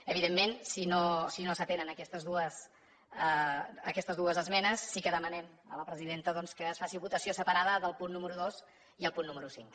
evidentment si no s’atenen aquestes dues esmenes sí que demanem a la presidenta doncs que es faci votació separada del punt número dos i el punt número cinc